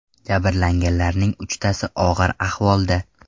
Jabrlanganlarning uchtasi og‘ir ahvolda.